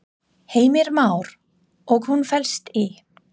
Heimir Már: Og hún felst í?